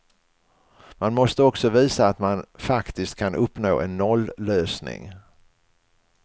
Man måste också visa att man faktiskt kan uppnå en nollösning.